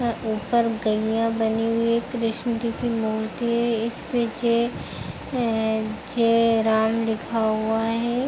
और ऊपर गईया बनी हुई एक कृष्णा जी की मूर्ति है। इस पे जय राम लिखा हुआ है।